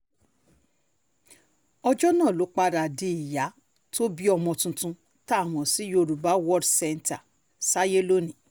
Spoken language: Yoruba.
ọjọ́ náà ló padà di ìyá tó bí ọmọ tuntun tá a mọ̀ sí yorùbá world centre sáyé lónìí